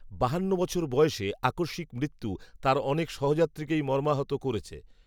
বাহান্ন বছর বয়সে আকস্মিক মৃত্যু, তাঁর অনেক সহযাত্রীকেই মর্মাহত করেছে